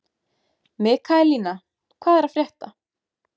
Mikaelína, hvað er að frétta?